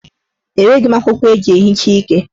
Enweghi m akwụkwọ eji ehicha ike.